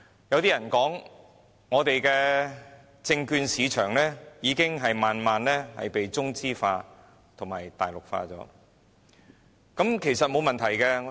有人說，我們的證券市場已慢慢中資化及大陸化，其實，這是沒問題的。